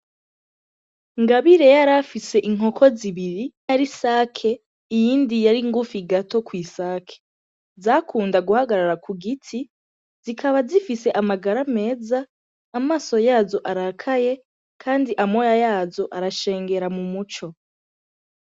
Ngabire yarafise inkoko zibiri, imwe yari isake iyindi yari ngufi gato kw'isake, zakunda guhagarara ku giti zikaba zifise amagara meza amaso yazo arakaye kandi amoya yazo arashengera mu muco.